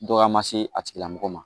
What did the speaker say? Dɔgɔya ma se a tigilamɔgɔ ma